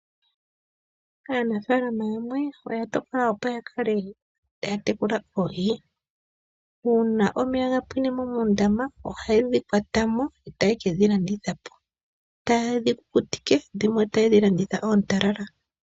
Aanafaalama yamwe oya tokola opo yatekule oohi. Uuna omeya gapwine mo moondama ohayedhi kwata mo etayekedhi landitha po tayedhi kukutike dhimwe tayedhi landitha po oontalala.